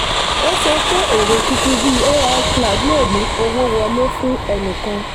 ó sọ pé èrò tuntun bíi ai cloud lè mú owó wọlé fún ẹnìkan.